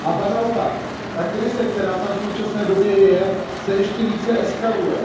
Naopak, ta krize, která tam v současné době je, se ještě více eskaluje.